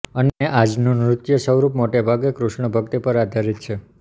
અને આજનું નૃત્ય સ્વરૂપ મોટે ભાગે કૃષ્ણ ભક્તિ પર આધારિત છે